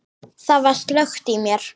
Það var slökkt í mér.